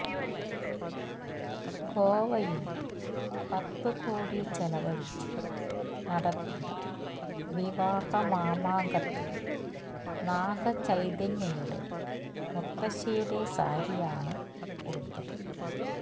ഗോവയില് പത്ത് കോടി ചെലവഴിച്ച് നടത്തിയ വിവാഹ മാമാങ്കത്തില് നാഗ ചൈതന്യയുടെ മുത്തശ്ശിയുടെ സാരിയാണ് ഉടുത്തത്